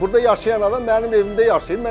Burda yaşayan adam mənim evimdə yaşayıb.